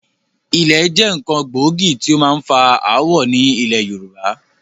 Ilẹ̀ jẹ́ nkán gbòógì tí ó máa ń fa ááwọ̀ ni ilẹ̀ Yorùbá